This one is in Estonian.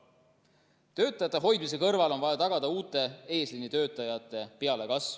Töötajate hoidmise kõrval on vaja tagada uute eesliinitöötajate pealekasv.